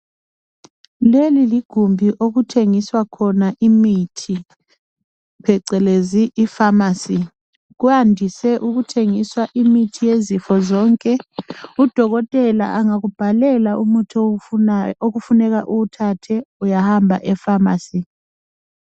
Leli ligumbi okuthengiswa khona imithi phecelezi I pharmacy. Kuyandise ukuthengiswa imithi yezifo zonke Udokotela angakubhalela umuthi okufuneka uwuthathe uyahamba e pharmacy